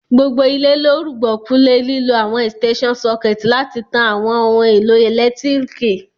Gbogbo ilé lo rùgbọ̀kú le lílo àwon extension sucket láti tan àwon oun èlò ẹ́lẹ̀ntirikì